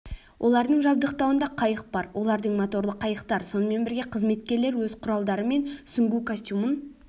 олардың жабдықтауында қайық бар олардың моторлы қайықтар сонымен бірге қызметкерлер өз құралдары мен сүңгу костюмын